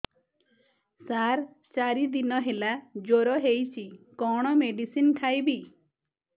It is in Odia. ସାର ଚାରି ଦିନ ହେଲା ଜ୍ଵର ହେଇଚି କଣ ମେଡିସିନ ଖାଇବି